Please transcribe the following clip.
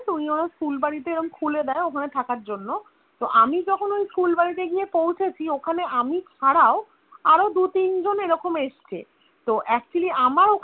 তো উনি আমার ফুলবাড়ী তে খুলে দেয় ওরকম থাকার জন্য তো আমি যখন ওই ফুলবাড়ী তে গিয়ে পৌঁছেছি ওখানে আমি ছাড়াও আরো দু তিন জন এরকম এসছে তো Actually আমার ওখানে